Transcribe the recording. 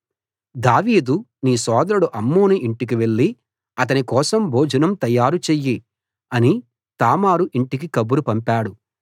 దావీదు నీ సోదరుడు అమ్నోను ఇంటికి వెళ్లి అతని కోసం భోజనం తయారుచెయ్యి అని తామారు ఇంటికి కబురు పంపాడు